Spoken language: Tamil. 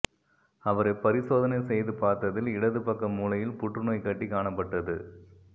அவரை பரிசோதனை செய்து பார்த்ததில் இடது பக்க மூளையில் புற்றுநோய் கட்டி காணப்பட்டது